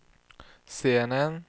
scenen